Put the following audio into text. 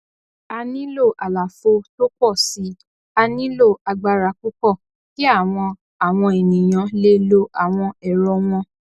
a nílò àlàfo tó pò si a nílò agbára púpọ kí àwọn àwọn ènìyàn lè lo àwọn ẹrọ wọn